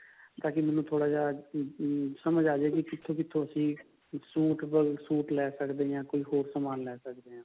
ਤਾਕਿ ਮੈਨੂੰ ਥੋੜਾ ਜਾ ਸਮਝ ਆਜੇ ਕਿੱਥੋਂ ਕਿੱਥੋਂ ਤੁਸੀਂ suit ਲੈ ਸਕਦੇ ਹਾਂ ਕੋਈ ਹੋਰ ਸਮਾਨ ਲੈ ਸਕਦੇ ਹਾਂ